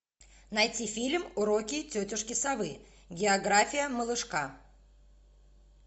найти фильм уроки тетушки совы география малышка